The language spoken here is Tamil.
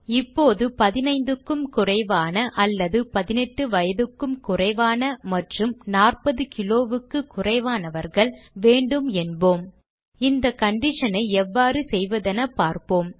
இப்போது 15 வயதுக்கும் குறைவான அல்லது 18 வயதுக்கும் குறைவான மற்றும் 40 கிலோவுக்கு குறைவானவர்கள் வேண்டும் என்போம் இந்த condition ஐ எவ்வாறு செய்வதென பார்ப்போம்